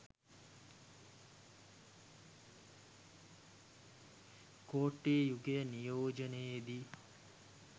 කෝට්ටේ යුගය නියෝජනයේදී